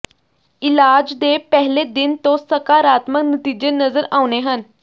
ਇਲਾਜ ਦੇ ਪਹਿਲੇ ਦਿਨ ਤੋਂ ਸਕਾਰਾਤਮਕ ਨਤੀਜੇ ਨਜ਼ਰ ਆਉਣੇ ਹਨ